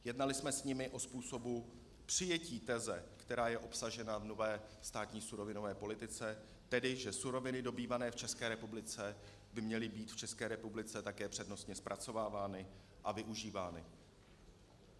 Jednali jsme s nimi o způsobu přijetí teze, která je obsažena v nové státní surovinové politice, tedy že suroviny dobývané v České republice by měly být v České republice také přednostně zpracovávány a využívány.